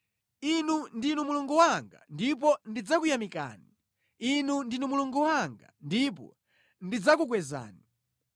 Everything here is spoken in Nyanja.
Inu ndinu Mulungu wanga, ndipo ndidzakuyamikani; Inu ndinu Mulungu wanga, ndipo ndidzakukwezani.